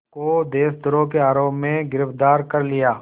को देशद्रोह के आरोप में गिरफ़्तार कर लिया